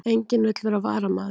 Enginn vill vera varamaður